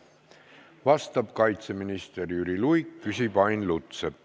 Vastab kaitseminister Jüri Luik, küsib Ain Lutsepp.